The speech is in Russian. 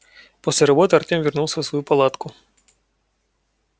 после работы артем вернулся в свою палатку